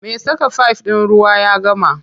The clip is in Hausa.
Me saka fif ɗin ruwa ya gama.